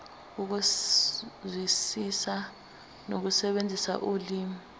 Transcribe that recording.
ukuzwisisa nokusebenzisa ulimi